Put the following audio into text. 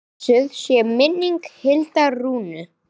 Blessuð sé minning Hildar Rúnu.